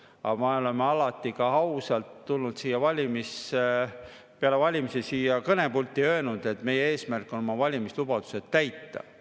Aga me oleme alati ausalt, peale valimisi siia kõnepulti tulnud ja öelnud, et meie eesmärk on oma valimislubadused täita.